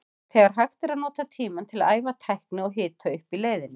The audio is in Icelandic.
Þegar hægt er að nota tímann til að æfa tækni og hita upp í leiðinni.